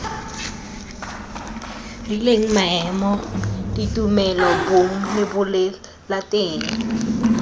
rileng maemo ditumelo bong lebolelateng